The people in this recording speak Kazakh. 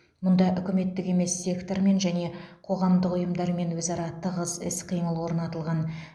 мұнда үкіметтік емес сектормен және қоғамдық ұйымдармен өзара тығыз іс қимыл орнатылған